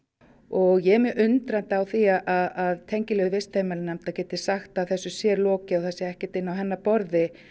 og ég er mjög undrandi á því að tengiliður vistheimilanefndar geti sagt að þessu sé lokið og að það sé ekkert inni á hennar borði